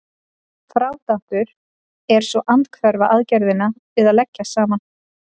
Frádráttur er svo andhverfa aðgerðin við að leggja saman.